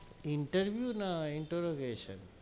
Interview না introgation,